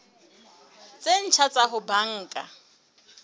tse ntjha tsa ho banka